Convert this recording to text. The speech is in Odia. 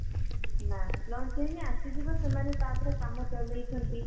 ନା launch ହେଇନି ଆସିଯିବ ସେମାନେ ତାପରେ କାମ ଚଳେଇଛନ୍ତି